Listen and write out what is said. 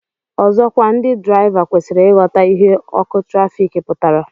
Ọzọkwa ndị draịva kwesịrị ịghọta ihe ọkụ trafik pụtara